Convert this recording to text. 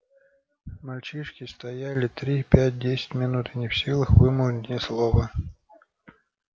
мальчишки стояли три пять десять минут не в силах вымолвить ни слова